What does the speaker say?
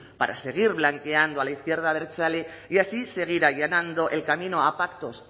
para seguir blanqueando a la izquierda abertzale y así seguir allanando el camino a pactos